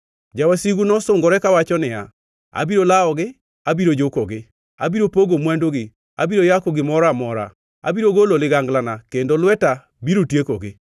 Jawasigu nosungore kawacho niya, “Abiro lawogi, abiro jukogi. Abiro pogo mwandugi; abiro yako gimoro amora. Abiro golo liganglana kendo lweta biro tiekogi.